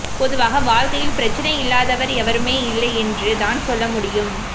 பொதுவாக வாழ்க்கையில் பிரச்சினை இல்லாதாவர் எவருமே இல்லை என்று தான் சொல்ல முடியும்